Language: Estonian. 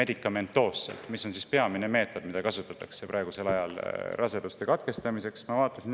See on peamine meetod, mida praegusel ajal raseduse katkestamiseks kasutatakse.